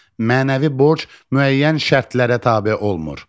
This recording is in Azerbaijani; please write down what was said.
Mənəvi borc müəyyən şərtlərə tabe olmur,